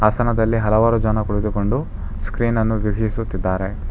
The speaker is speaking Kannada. ಆಸನದಲ್ಲಿ ಹಲವಾರು ಜನ ಕುತ್ಕೊಂಡು ಸ್ಕ್ರೀನ್ ಅನ್ನು ವೀಕ್ಷಿಸುತ್ತಿದ್ದಾರೆ.